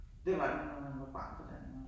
Det var det når man var barn på landet